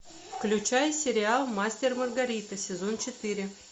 включай сериал мастер и маргарита сезон четыре